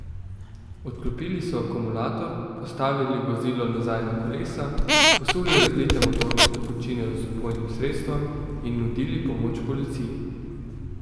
Odklopili so akumulator, postavili vozilo nazaj na kolesa, posuli razlite motorne tekočine z vpojnim sredstvom in nudili pomoč policiji.